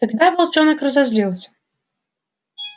тогда волчонок разозлился